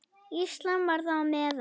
Ísland var þar á meðal.